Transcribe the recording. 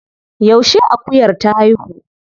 Yaushe akuyar ta haihu?